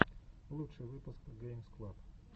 лучший выпуск геймс клаб